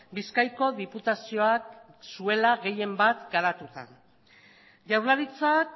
bizkaiko diputazioak zuela gehienbat garatuta jaurlaritzak